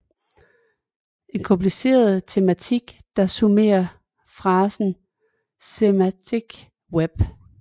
En kompliceret tematik der summerer frasen Semantic Web